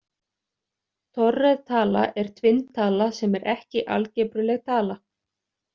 Torræð tala er tvinntala sem er ekki algebruleg tala.